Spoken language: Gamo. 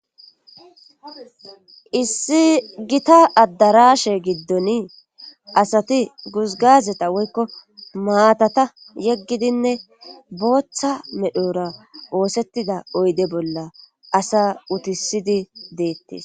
issi gita addarashe giddoni asati guzgazeta woykko maatata yeggidinne booththa medhora oosettida oyde bolla asa utisidi deettes